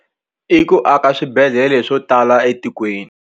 I ku aka swibedhlele swo tala etikweni.